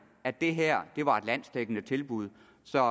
at det her var et landsdækkende tilbud som